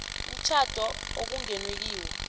umtjhado okungenwe kiwo